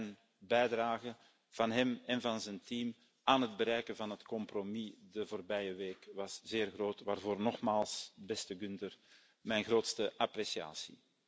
Zijn bijdrage, van hem en van zijn team, aan het bereiken van het compromis de afgelopen week was zeer groot, waarvoor nogmaals, beste Günther, mijn grootste appreciatie.